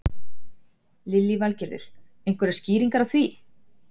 Lillý Valgerður: Einhverjar skýringar á því?